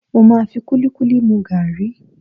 Mo máa fi kúlíkúlí mu gàrí.